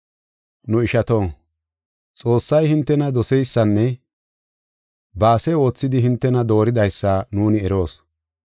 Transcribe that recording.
Nu ishato, Xoossay hintena doseysanne ba ase oothidi hintena dooridaysa nuuni eroos.